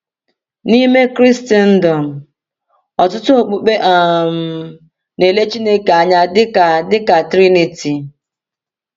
N’ime Kraịstndọm, ọtụtụ okpukpe um na-ele Chineke anya dịka dịka Triniti.